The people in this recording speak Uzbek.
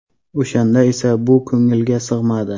O‘shanda esa bu ko‘ngilga sig‘madi.